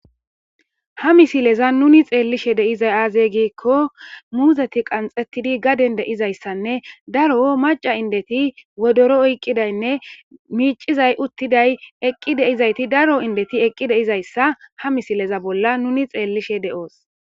Ha misilezan nuni xeellishe de'izay aaze giiko muuzeti qanxxetidi gaden de'izayssanne daro macca indeti wodoro oyqidaynne miicizay, uttiday, eqqi de'izayti daro indeti eqqi de'izayssa ha misileza bolla nuni xeellishe de'os.